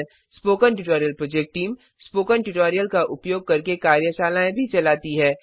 spoken tutorial project team spoken tutorial का उपयोग करके कार्यशालाएँ भी चलाती है